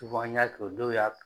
n y'a kɛ dɔw y'a